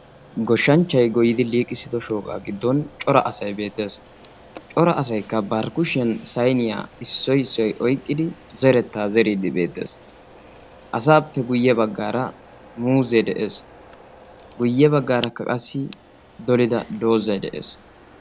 Goshshanchchay goyyiddi liiqissiddo goshsha giddon cora asay beettes ha asay ba kushiyan saynniya oyqqiddi zerees.